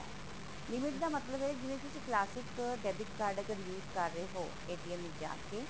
limit ਦਾ ਮਤਲਬ ਇਹ ਹੁੰਦਾ ਹੈ ਕਿ ਜੇ ਤੁਸੀ classic debit card ਅਗਰ use ਕਰ ਰਹੇ ਹੋ ਵਿੱਚ ਜਾਕੇ